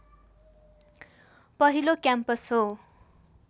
पहिलो क्याम्पस हो